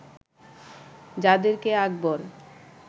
যাদের কে আকবর